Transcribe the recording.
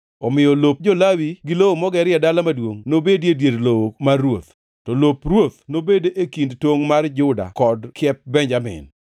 Omiyo lop jo-Lawi gi lowo mogerie dala maduongʼ nobedie dier lowo mar ruoth. To lop ruoth nobed e kind tongʼ mar Juda kod kiep Benjamin.